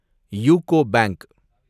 UCO bank